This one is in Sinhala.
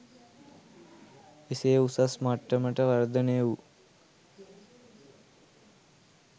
එසේ උසස් මට්ටමට වර්ධනය වූ